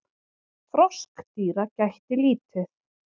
Froskdýra gætti lítið.